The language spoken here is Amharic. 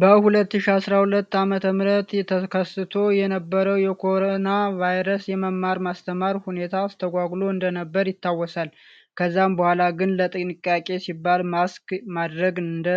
በ 2012 አመተ ምህረት ተከስቶ የነበረው የኮሮና ቫይረስ የመማር ማስተማር ሁኔታን አስትጓጉሎ እንደነበር ይታወሳል። ከዛም በኋላ ግን ለጥንቃቄ ሲባል ማስክ ማድረግን እንደ